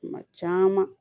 Kuma caman